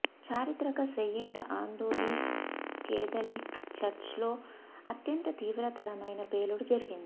చారిత్రక Saint Anthony's Catholic చర్చ్లో అత్యంత తీవ్రతరమైన పేలుడు జరిగింది